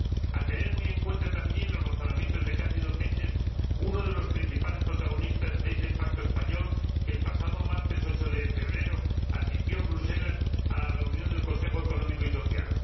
A tener muy en cuenta también los razonamientos de Cándido Méndez, uno de los principales protagonistas de ese pacto español, que el pasado martes 8 de febrero asistió en Bruselas a la reunión del Consejo Económico y Social.